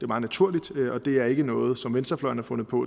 meget naturligt og det er ikke noget som venstrefløjen har fundet på